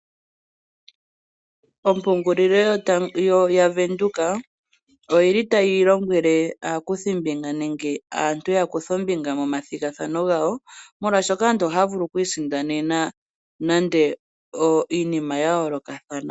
Ompungulilo yaVenduka oyi li tayi lombwele aakuthimbinga nenge aantu ya kuthe ombinga momathigathano gawo, molwaashoka aantu oha ya vulu oku isindanena nande iinima ya yoolokathana.